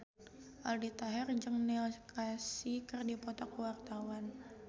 Aldi Taher jeung Neil Casey keur dipoto ku wartawan